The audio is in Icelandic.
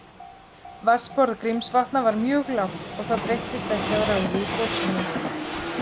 Vatnsborð Grímsvatna var mjög lágt og það breyttist ekki að ráði í gosinu.